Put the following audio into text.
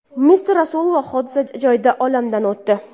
M. Rasulova hodisa joyida olamdan o‘tdi.